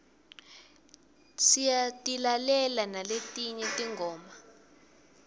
siyatilalela naletinye tingoma